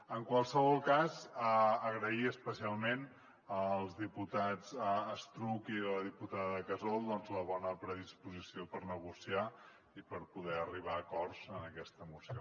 en qualsevol cas agrair especialment al diputat estruch i la diputada casol la bona predisposició per negociar i per poder arribar a acords en aquesta moció